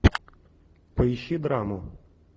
поищи драму